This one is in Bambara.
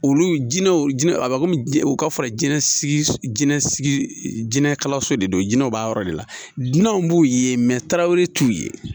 Olu jinɛw jinɛ a bɛ komi u ka fara jɛnnakalanso de don jinɛw b'a yɔrɔ de la dinɛw b'u ye tarawele t'u ye